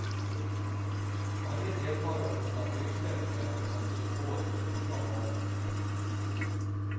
Varje deltagare måste ha en ryggsäck med sig som symbol för kungabarnet.